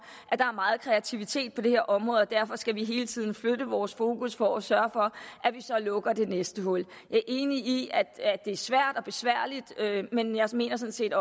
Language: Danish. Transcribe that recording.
at der er meget kreativitet på det her område og derfor skal vi hele tiden flytte vores fokus for at sørge for at vi så lukker det næste hul jeg er enig i at det er svært og besværligt men jeg mener sådan set